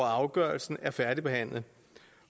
afgørelse er færdigbehandlet